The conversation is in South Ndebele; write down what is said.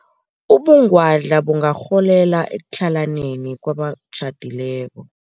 Ubungwadla bungarholela ekutlhalaneni kwabatjhadileko.